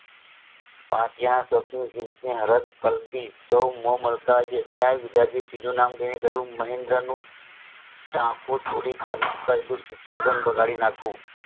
ત્યાં તીજું નામ લાય કહ્યુંમહેન્દ્ર નું ટાંકુ તોડી પહેલું સુસોધાન બગાડી નાખું